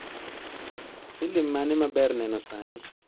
Filim mane maber neno sani